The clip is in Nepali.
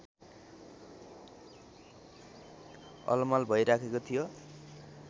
अलमल भइराखेको थियो